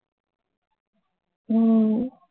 உம்